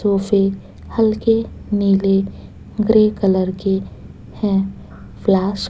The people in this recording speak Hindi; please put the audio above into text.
सोफे हल्के नीले ग्रे कलर के हैं फ्लास--